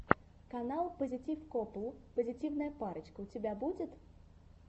канал пазитив копл позитивная парочка у тебя будет